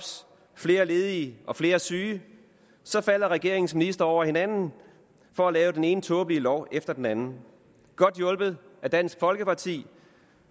flere ledige og flere syge falder regeringens ministre over hinanden for at lave den ene tåbelige lov efter den anden godt hjulpet af dansk folkeparti